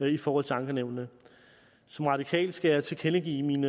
i forhold til ankenævnene som radikal skal jeg tilkendegive min